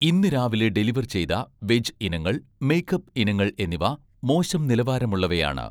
ഇന്ന് രാവിലെ ഡെലിവർ ചെയ്ത വെജ് ഇനങ്ങൾ, മേക്കപ്പ് ഇനങ്ങൾ എന്നിവ മോശം നിലവാരമുള്ളവയാണ്